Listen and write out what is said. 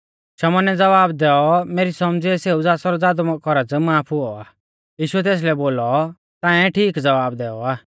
शमौनै ज़वाब दैऔ मेरी सौमझ़ीऐ सेऊ ज़ासरौ ज़ादौ कौरज़ माफ हुऔ आ यीशुऐ तेसलै बोलौ ताऐं ठीक ज़वाब दैऔ आ